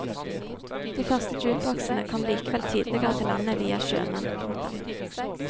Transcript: De første jukeboksene kom likevel tidligere til landet via sjømenn. punktum